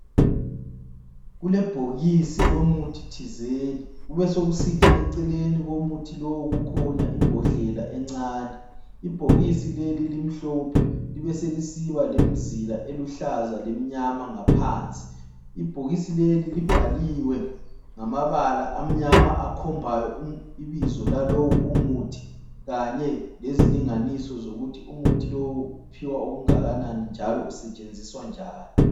Kule bhokisi lomuthi thizeni, kube sokusithi eceleni komuthi lowu kukhona imbodlela encane, ibhokisi leli limhlophe, libe sesilisiba lemzila eluhlaza lemnyama ngaphansi, ibhokisi leli libhaliwe ngamabala amnyama akhombayo ibizo lalowu umuthi, kanye lezilinganiso zokuthi umuthi lowu uphiwa okungakanani njalo usetshenziwa njani.